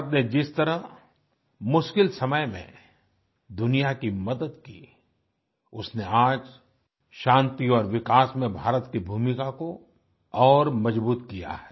भारत ने जिस तरह मुश्किल समय में दुनिया की मदद की उसने आज शांति और विकास में भारत की भूमिका को और मज़बूत किया है